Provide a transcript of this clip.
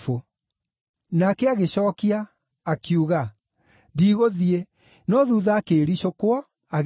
“Nake agĩcookia, akiuga, ‘Ndigũthiĩ,’ no thuutha akĩĩricũkwo, agĩthiĩ.